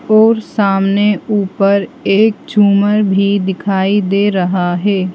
और सामने ऊपर एक झूमर भी दिखाई दे रहा है।